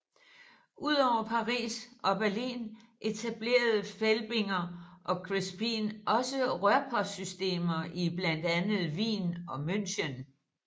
Udover Paris og Berlin etablerede Felbinger og Crespin også rørpostsystemer i blandt andet Wien og München